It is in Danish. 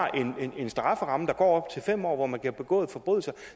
en strafferamme der går op til fem år hvor man kan have begået forbrydelser og